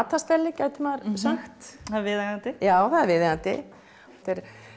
matarstelli gæti maður sagt það er viðeigandi já það er viðeigandi þetta er